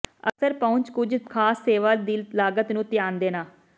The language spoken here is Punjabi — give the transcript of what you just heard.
ਅਕਸਰ ਪਹੁੰਚ ਕੁਝ ਖਾਸ ਸੇਵਾ ਦੀ ਲਾਗਤ ਨੂੰ ਧਿਆਨ ਦੇਣਾ